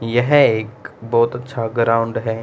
यह एक बहोत अच्छा ग्राउंड है।